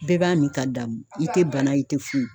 Bɛɛ b'a mi ka damu i te bana ye i te foyi